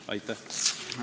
Aitäh!